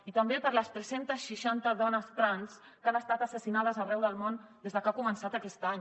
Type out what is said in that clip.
i també per les tres cents i seixanta dones trans que han estat assassinades arreu del món des de que ha començat aquest any